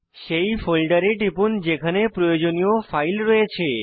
সেই ফোল্ডারে টিপুন যেখানে প্রয়োজনীয় ফাইল রয়েছে